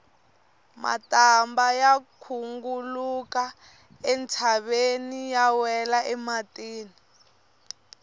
matambha ya khunguluka entshaveni ya wela emitini